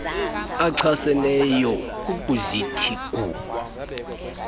achaseneyo ukuzithi gu